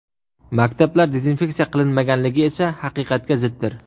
Maktablar dezinfeksiya qilinmaganligi esa haqiqatga ziddir.